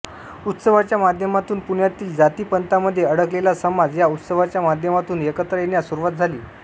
उत्सवाच्या माध्यमातून पुण्यातील जाती पंथामध्ये अडकलेला समाज या उत्सवाच्या माध्यमातून एकत्र येण्यास सुरुवात झाली